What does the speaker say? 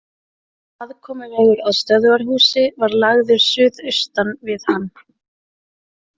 Aðkomuvegur að stöðvarhúsi var lagður suðaustan við hann.